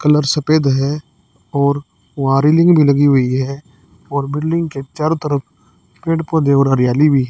colour सफेद है और वॉलिंग भी लगी हुई है और बिल्डिंग के चारों तरफ पेड़ पौधे और हरियाली भी--